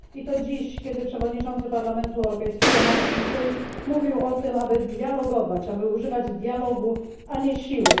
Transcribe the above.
I to dziś, kiedy przewodniczący Parlamentu Europejskiego Martin Schulz mówił o tym, aby dialogować, aby używać dialogu, a nie siły.